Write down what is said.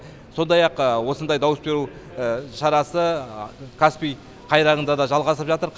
сондай ақ осындай дауыс беру шарасы каспий қайраңында да жалғасып жатыр